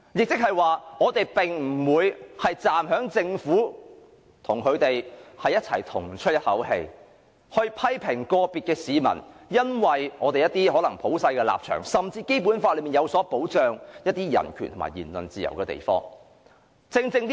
即是說，我們並不會站在政府的一方，與它一鼻孔出氣，批評個別市民因一些普世價值，甚至基於《基本法》對人權及言論自由的保障而作出的言論。